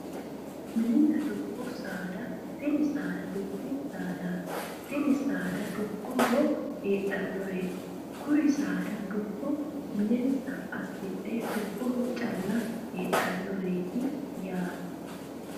Mininna dubbu saada tini saada dubbu saadaati tini saada dubboho heedhannoreeti kuri saada dubbo minensa assidhe dubboho calla heedhannoreeti yaate